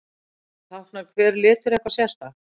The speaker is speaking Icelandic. Táknar hver litur eitthvað sérstakt?